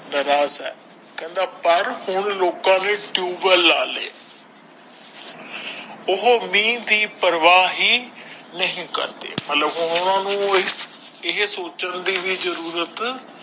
ਕਹਿੰਦਾ ਪਰ ਹੁਣ ਲੋਕਾਂ ਨੇ ਟਿਊਬਲ ਲਾ ਲਏ ਉਹ ਮੀਹ ਦੀ ਪ੍ਰਵਾਹ ਹੀ ਨਹੀਂ ਕਰਦੇ ਮਤਲਬ ਹੁਣ ਉਹਨਾਂ ਨੂੰ ਇਹ ਸੋਚਣ ਦੀ ਵੀ ਜਰੂਰਤ ਹੈ।